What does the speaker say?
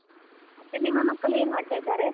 ಮತ್ತೆ ನಿಮ್ಮ ಮಕ್ಕಳು ಏನ್ ಮಾಡ್ತಾ ಇದ್ದಾರೆ?